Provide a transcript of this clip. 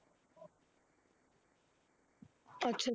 ਅੱਛਾ